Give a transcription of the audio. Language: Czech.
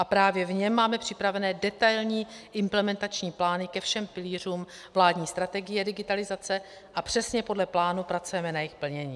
A právě v něm máme připravené detailní implementační plány ke všem pilířům vládní strategie digitalizace a přesně podle plánu pracujeme na jejich plnění.